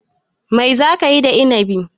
Mai za ka yi da Inibi?